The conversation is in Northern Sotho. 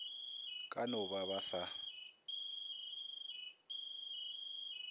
ka no ba ba sa